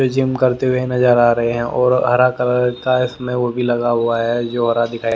gym करते हुए नजर आ रहे हैं और हरा कलर का इसमें वो भी लगा हुआ है जो हरा दिखाई--